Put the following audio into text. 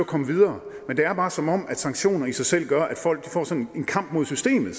komme videre men det er bare som om sanktioner i sig selv gør at folk får sådan en kamp mod systemet